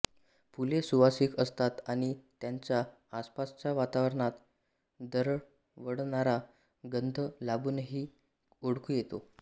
फुले सुवासिक असतात आणि त्यांचा आसपासच्या वातावरणात दरवळणारा गंध लांबूनही ओळखू येतो